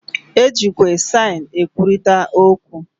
E jikwa saịn e kwurịta okwu.